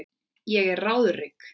Ég er ráðrík.